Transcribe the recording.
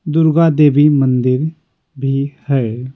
दुर्गा देवी मंदिर भी है।